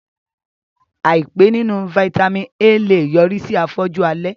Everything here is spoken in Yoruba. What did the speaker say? Àìpé nínú Vitamin A lè yọrí sí afọ́jú alẹ́